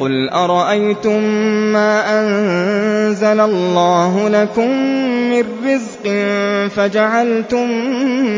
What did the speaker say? قُلْ أَرَأَيْتُم مَّا أَنزَلَ اللَّهُ لَكُم مِّن رِّزْقٍ فَجَعَلْتُم